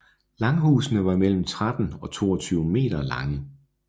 Langhusene var mellem 13 og 22 m lange